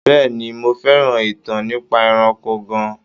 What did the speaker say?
Bẹ́ẹ̀ni, mo fẹ́ràn ìtàn nípa ẹranko gan-an.